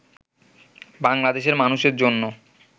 বাংলাদেশের মানুষের জন্য